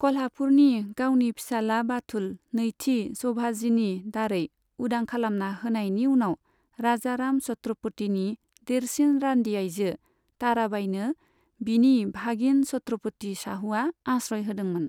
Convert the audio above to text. कल्हापुरनि गावनि फिसाला बाथुल नैथि सोभाजिनि दारै उदां खालामना होनायनि उनाव, राजाराम छत्रोपतिनि देरसिन रानदि आइजो, ताराबाइनो बिनि भागिन छत्रोपोति शाहुआ आश्रय होदोंमोन।